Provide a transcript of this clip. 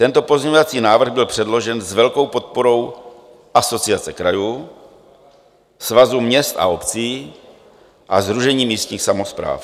Tento pozměňovací návrh byl předložen s velkou podporou Asociace krajů, Svazu měst a obcí a Sdružení místních samospráv.